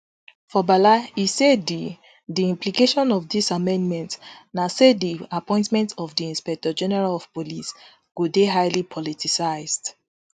for bala e say di di implication of dis amendment na say di appointment of di inspector general of police go dey highly politicised